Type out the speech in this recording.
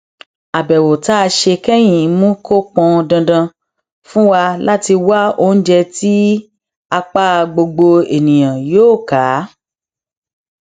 àbèwò tá a ṣe kẹyìn mú kó pọn dandan fún wa láti wá oúnjẹ tí apá gbogbo ènìyàn yóò ká